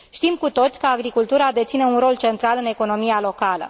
Știm cu toții că agricultura deține un rol central în economia locală.